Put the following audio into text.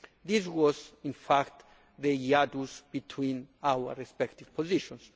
This was in fact the hiatus between our respective positions.